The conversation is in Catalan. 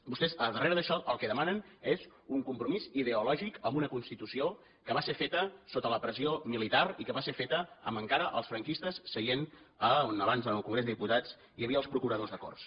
vostès a darrere d’això el que demanen és un compromís ideològic amb una constitució que va ser feta sota la pressió militar i que va ser feta amb encara els franquistes seient on abans en el congrés dels diputats hi havia els procuradors a corts